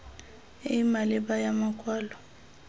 e e maleba ya makwalo